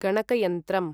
गणकयन्त्रम्